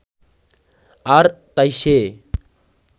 আর তাই সে